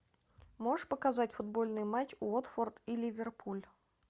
можешь показать футбольный матч уотфорд и ливерпуль